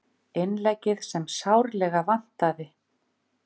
Innleggið sem sárlega vantaði